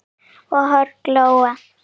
og horn glóa